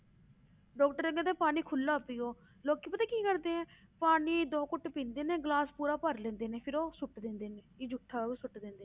Doctor ਕਹਿੰਦਾ ਪਾਣੀ ਖੁੱਲਾ ਪੀਓ ਲੋਕੀ ਪਤਾ ਕੀ ਕਰਦੇ ਹੈ ਪਾਣੀ ਦੋ ਘੁੱਟ ਪੀਂਦੇ ਨੇ ਗਲਾਸ ਪੂਰਾ ਭਰ ਲੈਂਦੇ ਨੇ ਫਿਰ ਉਹ ਸੁੱਟ ਦਿੰਦੇ ਨੇ ਕਿ ਜੂਠਾ ਉਹਨੂੰ ਸੁੱਟ ਦਿੰਦੇ